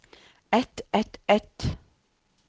ett ett ett